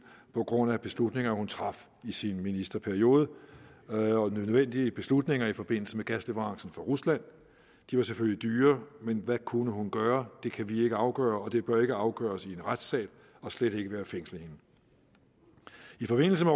på grund af beslutninger hun traf i sin ministerperiode nødvendige beslutninger i forbindelse med gasleverancer fra rusland de var selvfølgelig dyre men hvad kunne hun gøre det kan vi ikke afgøre og det bør ikke afgøres i en retssal og slet ikke ved at fængsle hende i forbindelse